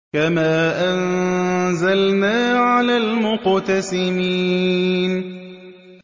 كَمَا أَنزَلْنَا عَلَى الْمُقْتَسِمِينَ